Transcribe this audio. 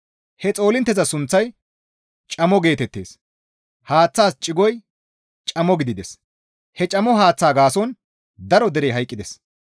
He xoolintteza sunththay camo geetettees; haaththaas cigoy camo gidides; he camo haaththaa gaason daro derey hayqqides.